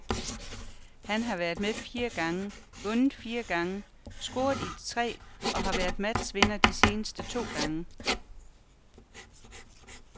Han har været med fire gange, vundet fire gange, scoret i de tre og har været matchvinder de seneste to gange.